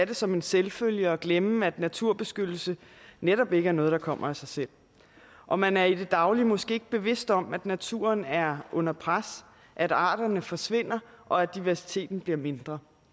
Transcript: det som en selvfølge og glemme at naturbeskyttelse netop ikke er noget der kommer af sig selv og man er i det daglige måske ikke bevidst om at naturen er under pres at arterne forsvinder og at diversiteten bliver mindre